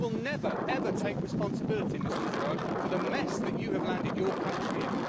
You will never, ever, take responsibility, Mr Farage, for the mess that you have landed your country in.